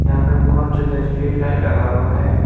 यहां पे बहोत ज्यादा स्ट्रीट लाइट लगा हुआ है।